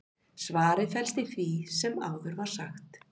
svarið felst í því sem áður var sagt